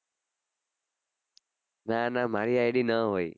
ના ના મારી id ન હોય